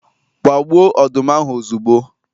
Gbaa gbuo ọdụm ahụ ozugbo